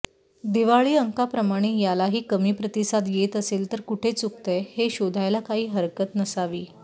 दिवाळी अंकाप्रमाणे यालाही कमी प्रतिसाद येत असेल तर कुठे चुकतंय हे शोधायला काही हरकत नसावी